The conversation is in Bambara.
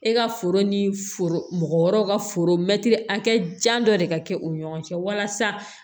E ka foro ni foro mɔgɔ wɛrɛw ka foro mɛtiri hakɛ jan dɔ de ka kɛ u ni ɲɔgɔn cɛ walasa